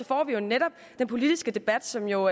får vi netop den politiske debat som jo